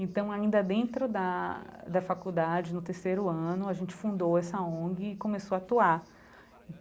Então, ainda dentro da da faculdade, no terceiro ano, a gente fundou essa ONG e começou a atuar.